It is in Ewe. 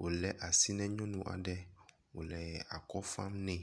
wole asi ne nyɔnu aɖe wole akɔ fam ne